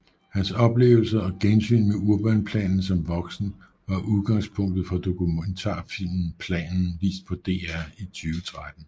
Hans oplevelser og gensyn med Urbanplanen som voksen var udgangspunkt for dokumentarfilmen Planen vist på DR i 2013